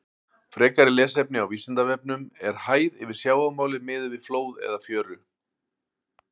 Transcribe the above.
Frekara lesefni á Vísindavefnum: Er hæð yfir sjávarmáli miðuð við flóð eða fjöru?